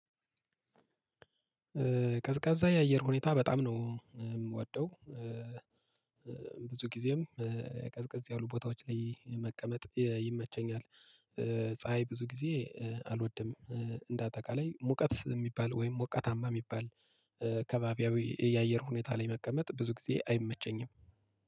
ቀዝቃዛ የአየር ሁኔታ በጣም ነው የምወደው። ብዙ ጊዜም ቀዝቀዝ ያሉ ቦታዎች ላይ መቀመጥ ይመቸኛል። ፀሀይ ብዙ ጊዜ አልወድም። እንደ አጠቃላይ ሙቀት የሚባል ወይም ሞቃታማ የሚባል አከባቢያዊ የአየር ሁኔታ ላይ መቀመጥ ብዙ ጊዜ አይመቸኝም